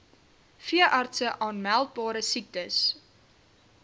veeartse aanmeldbare siektes